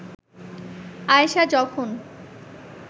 আয়েষা যখন